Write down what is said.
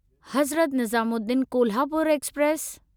Hazrat Nizamuddin Kolhapur express